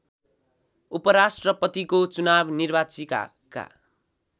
उपराष्‍ट्रपतिको चुनाव निर्वाचिकाका